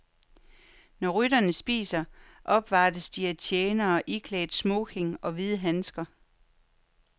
Når rytterne spiser, opvartes de af tjenere iklædt smoking og hvide handsker.